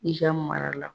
I ka mara la